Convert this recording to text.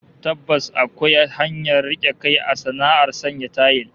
Tabbas akwai hanyar rike kai a sana'ar sanya tayil